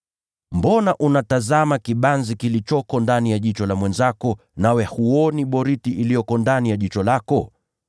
“Mbona unatazama kibanzi kilicho ndani ya jicho la ndugu yako, wala huoni boriti iliyo ndani ya jicho lako mwenyewe?